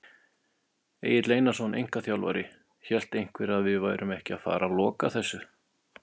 Egill Einarsson, einkaþjálfari: Hélt einhver að við værum ekki að fara loka þessu!?